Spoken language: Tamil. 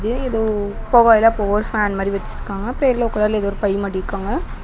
வச்சிருக்காங்க அப்ரோ எல்லோ கலர்ல ஏதோ பை மாரி இருக்காங்க.